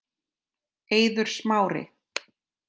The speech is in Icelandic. Eiður Smári